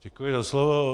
Děkuji za slovo.